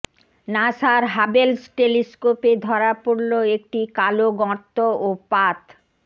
নাসার হাবেলস টেলিস্কোপে ধরা পড়ল একটি কালো গর্ত ও পাত